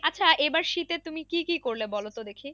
আচ্ছা এবার শীতে তুমি কি কি করলে বলো তো দেখি।